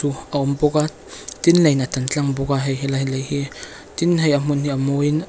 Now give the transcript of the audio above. u a awm bawk a tin leiin a tan tlang bawk a hei helai hlei hi tin hei a hmun hi a mawiin --